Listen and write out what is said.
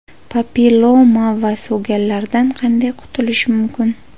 Papilloma va so‘gallardan qanday qutulish mumkin?.